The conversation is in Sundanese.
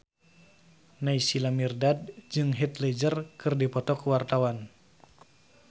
Naysila Mirdad jeung Heath Ledger keur dipoto ku wartawan